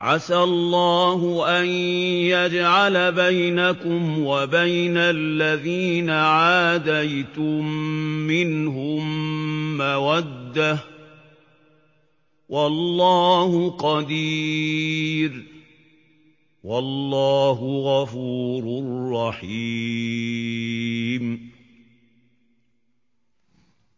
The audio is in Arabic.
۞ عَسَى اللَّهُ أَن يَجْعَلَ بَيْنَكُمْ وَبَيْنَ الَّذِينَ عَادَيْتُم مِّنْهُم مَّوَدَّةً ۚ وَاللَّهُ قَدِيرٌ ۚ وَاللَّهُ غَفُورٌ رَّحِيمٌ